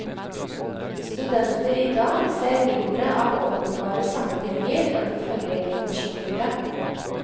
Studenter i dag ser mindre av åpenbare sammenhenger enn det forrige generasjon gjorde.